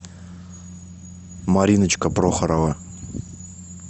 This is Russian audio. мариночка прохорова